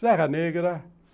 Serra Negra.